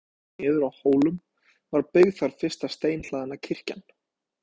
Áður en biskupssetur var lagt niður á Hólum var byggð þar fyrsta steinhlaðna kirkjan.